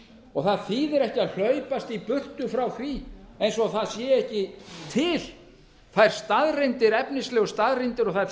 og það þýðir ekki að hlaupast í burtu frá því eins og það sé ekki til þær efnislegu staðreyndir og þær